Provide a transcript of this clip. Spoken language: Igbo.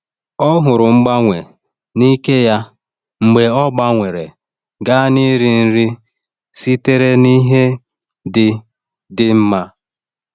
Ọ hụrụ mgbanwe n’ike ya mgbe ọ gbanwere gaa n’iri nri sitere n’ihe dị dị mma.